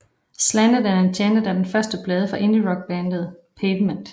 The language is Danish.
Slanted and Enchanted er den første plade fra indierockbandet Pavement